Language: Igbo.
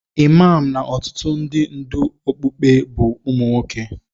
Imam na ọtụtụ ndị ndú okpukpe bụ ụmụ nwoke.